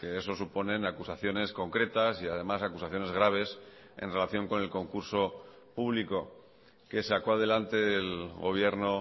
eso suponen acusaciones concretas y además acusaciones graves en relación con el concurso público que sacó adelante el gobierno